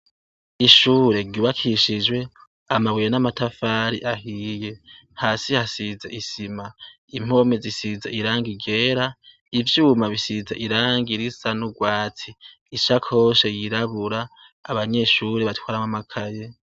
Ishure ry'ubakishijwe amabuye namatafari ahiye, hasi hasize isima impome zisize irangi ryera ivyuma bisize irangi risa nurwatsi ishakoshi yiraburabura abanyeshure batwaramwo amakaye.